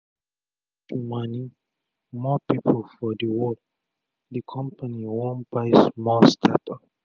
to reach mani more pipu for d world d compani wan buy small startup